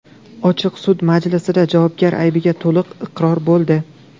Ochiq sud majlisida javobgar aybiga to‘liq iqror bo‘ldi.